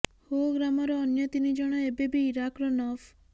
ହୋ ଗ୍ରାମର ଅନ୍ୟ ତିନି ଜଣ ଏବେ ବି ଇରାକର ନଫ